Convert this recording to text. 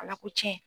Ala ko cɛn